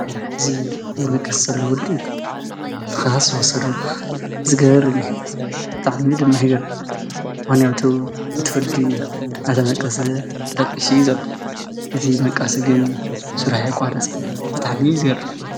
እዙይ ዘመቀተለ ወዲ ትኻስ ወሰዶ ዝገርም እዩ። እታዕሚ ድማ ሕግር ዋንያቱ እትወድይ ኣተመቀሰ ዳቂሽ ዘሉ እቲ መቃሲ ግን ሡራይ ቋረጽን ብጣዕሚ ዝገርም።